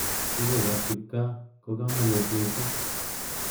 Kerchek ab kipkaa ko kanakut missing.